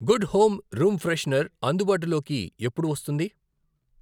Good home room freshener అందుబాటులోకి ఎప్పుడు వస్తుంది?